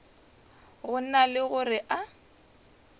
go na le gore a